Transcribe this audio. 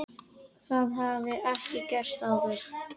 Það hafi ekki gerst áður.